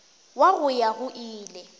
wa go ya go ile